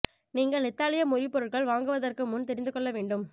நீங்கள் இத்தாலிய மொழி பொருட்கள் வாங்குவதற்கு முன் தெரிந்து கொள்ள வேண்டும்